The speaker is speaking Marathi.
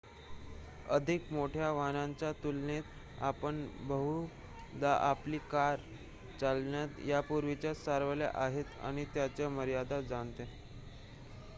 अधिक मोठ्या वाहनांच्या तुलनेत आपण बहुधा आपली कार चालवण्यात यापूर्वीच सरावलेले आहात आणि त्याच्या मर्यादा जाणता